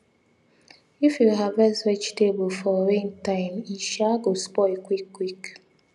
if you harvest vegetable for rain time e um go spoil quick quick